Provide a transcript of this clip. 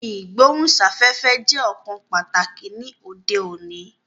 Ìgbóhùn sáfẹ́fẹ́ jẹ́ ọ̀kan pàtàkì ni òde òní